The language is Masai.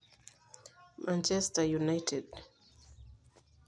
Manchester united